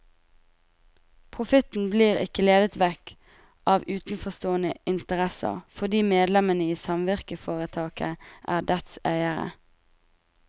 Profitten blir ikke ledet vekk av utenforstående interesser, fordi medlemmene i samvirkeforetaket er dets eiere.